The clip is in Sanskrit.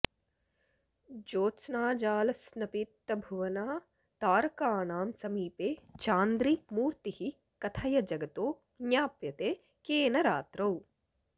ज्तोत्स्नाजालस्नपितभुवना तारकाणां समीपे चान्द्री मूर्तिः कथय जगतो ज्ञाप्यते केन रात्रौ